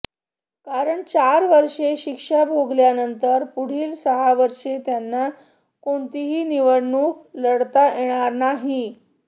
कारण चार वर्षे शिक्षा भोगल्यानंतर पुढील सहा वर्षे त्यांना कोणतीही निवडणूक लढवता येणार नाही